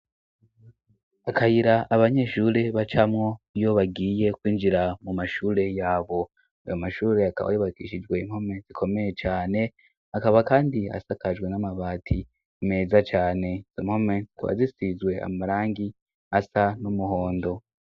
Akayira abanyeshuri bacamwo iyo bagiye kwinjira mu mashure yabo. Ayo mashuri akaba yubakishijwe impome zikomeye cane akaba kandi asakajwe n'amabati meza cane. Izo mpome zisizwe amarangi asa n'umuhondo.